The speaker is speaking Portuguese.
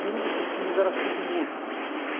E um desses filhos era surdo-mudo.